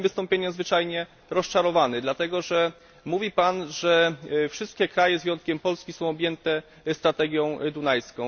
Jestem tym wystąpieniem zwyczajnie rozczarowany. Powiedział Pan, że wszystkie kraje z wyjątkiem Polski są objęte strategią dunajską.